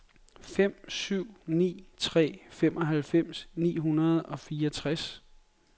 fem syv ni tre femoghalvfems ni hundrede og fireogtres